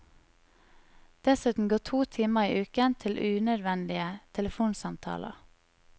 Dessuten går to timer i uken til unødvendige telefonsamtaler.